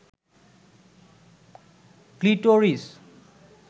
clitoris